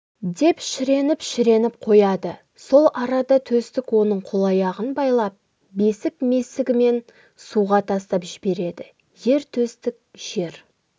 деп шіреніп-шіреніп қояды сол арада төстік оның қол-аяғын байлап бесік-месігімен суға тастап жібереді ер төстік жер